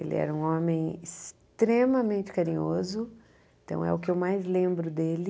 Ele era um homem extremamente carinhoso, então é o que eu mais lembro dele.